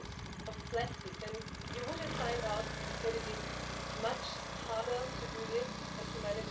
wie bei Verkehrsunfällen pro Jahr in der Europäischen Union zu Tode kommen.